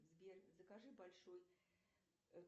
сбер закажи большой